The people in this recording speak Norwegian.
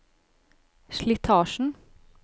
slitasjen